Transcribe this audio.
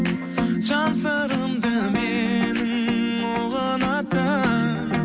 жан сырымды менің ұғынатын